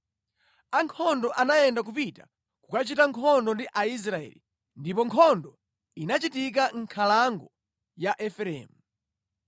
Ankhondo anayenda kupita kukachita nkhondo ndi Israeli, ndipo nkhondo inachitika mʼnkhalango ya Efereimu.